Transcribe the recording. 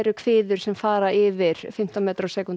kviður sem fara yfir fimmtán metra á sekúntu